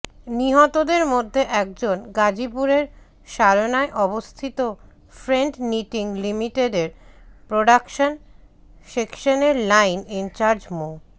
নিহতদের মধ্যে একজন গাজীপুরের শালনায় অবস্থিত ফ্রেন্ড নিটিং লিমিটেডের প্রডাকশন সেকশনের লাইন ইনচার্জ মো